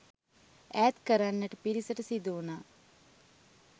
ඈත් කරන්නට පිරිසට සිදුවුණා.